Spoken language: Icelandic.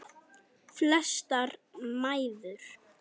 Flestar mæður.